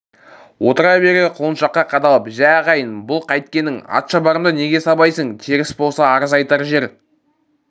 отыра бере құлыншаққа қадалып жә ағайын бұл қайткенің атшабарымды неге сабайсың теріс болса арыз айтар жер